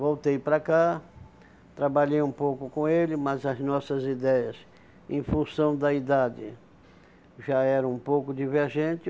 Voltei para cá, trabalhei um pouco com ele, mas as nossas ideias, em função da idade, já eram um pouco divergente